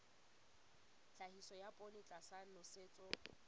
tlhahiso ya poone tlasa nosetso